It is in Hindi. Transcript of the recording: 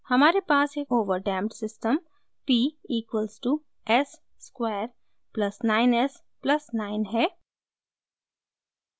हमारे पास एक overdamped system p equals to s square plus 9 s plus 9 है